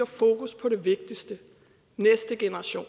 fokus på det vigtigste næste generation